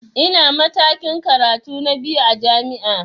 Ina matakin karatu na biyu a jami'a